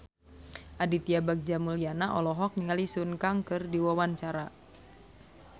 Aditya Bagja Mulyana olohok ningali Sun Kang keur diwawancara